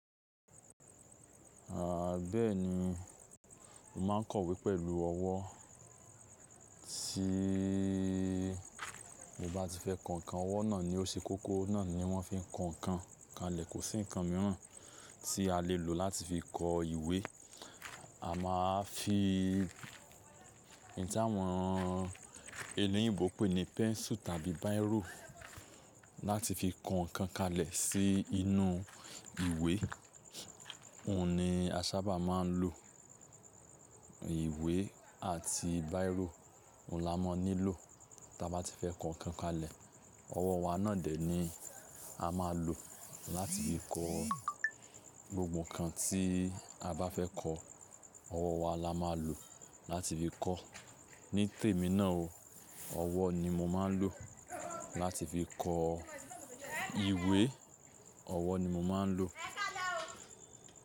Àà, bẹ́ẹ̀ni, mo máa ń kọ ìwé pẹ̀lú ọwọ́. Tí, mo bá ti fẹ́ kọ ǹkan, ọwọ́ náà ni ó ṣe kókó, náà ni wọ́n fi ń kọ ǹkan kalẹ̀. Kò sí ǹkan mìíràn tí a lè lò láti fi kọ ìwé. A máa fi ní tá'wọn ení òyìnbó pè ní pẹ́nsù tàbí bírò láti fi kọ ǹkan kalẹ̀ sí inú ìwé. Òun ni a sábà máa ń lò. Ìwé àti bírò, òun là máa ń nílò tí a bá ti fẹ́ kọ ǹkan kalẹ̀. Ọwọ́ wa náà dẹ̀ ni a máa lò láti fi kọ gbogbo ǹkan tí a bá fẹ́ kọ. Ọwọ́ wa la máa lò láti fi kọ́. Ní tèmi náà o, ọwọ́ ni mo máa ń lò láti fi kọ ìwé. Ọwọ́ ni mo máa ń lò.